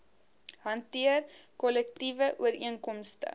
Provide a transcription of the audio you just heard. hanteer kollektiewe ooreenkomste